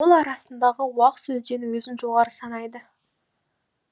ауыл арасындағы уақ сөзден өзін жоғары санайды